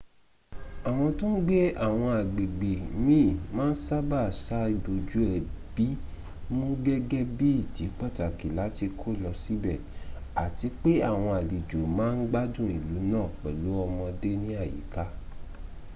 àwọn tó n gbé àwọn agbègbè miin ma n sábà sa ibójú ẹbí mu gẹ́gẹ́ bí ìdí pàtàkì látí kó lọ síbẹ̀ ati pé àwọn àlejò ma ń gbádùn ìlú náà pẹ̀lú ọmọdé ní àyíká